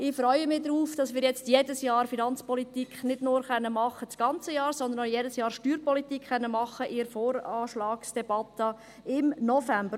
Ich freue mich darauf, dass wir jetzt nicht mehr nur das ganze Jahr Finanzpolitik machen können, sondern auch jedes Jahr Steuerpolitik in der Voranschlagsdebatte im November.